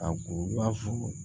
A ko i b'a fɔ